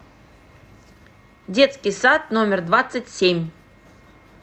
детский сад номер двадцать семь